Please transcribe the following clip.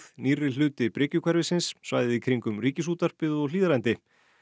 nýrri hluti svæðið í kringum Ríkisútvarpið og Hlíðarendi